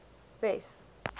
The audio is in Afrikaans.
wes